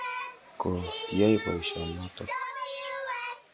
Ko kiai poisyonotok.